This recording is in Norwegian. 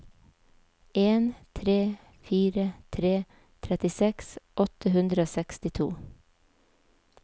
en tre fire tre trettiseks åtte hundre og sekstito